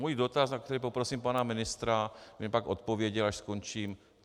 Můj dotaz, na který poprosím pana ministra, aby mi pak odpověděl, až skončím.